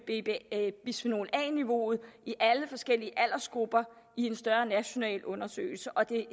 bisfenol a niveauet i alle forskellige aldersgrupper i en større national undersøgelse og det